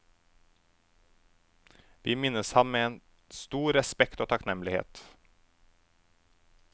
Vi minnes ham med stor respekt og takknemlighet.